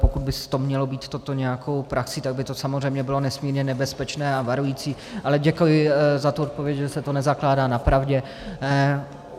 Pokud by mělo být toto nějakou praxí, tak by to samozřejmě bylo nesmírně nebezpečné a varující, ale děkuji za tu odpověď, že se to nezakládá na pravdě.